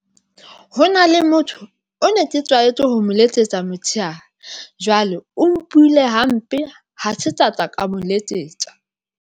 Ho na le motho, o ne ke tlwaetse ho mo letsetsa motshehare ha jwale o mpuhile hampe, ha se tla tsa ka mo letsetsa.